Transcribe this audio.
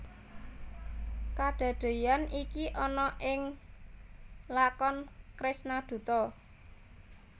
Kadadeyan iki ana ing lakon Kresna Duta